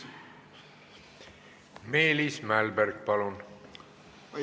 Meelis Mälberg, palun!